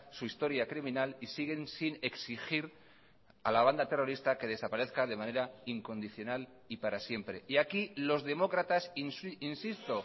su historia criminal y siguen sin exigir a la banda terrorista que desaparezca de manera incondicional y para siempre y aquí los demócratas insisto